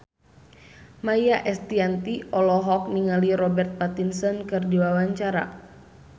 Maia Estianty olohok ningali Robert Pattinson keur diwawancara